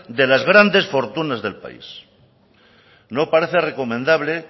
de las grandes fortunas del país no parece recomendable